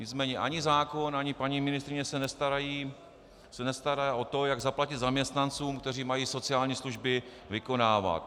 Nicméně ani zákon, ani paní ministryně se nestará o to, jak zaplatit zaměstnancům, kteří mají sociální služby vykonávat.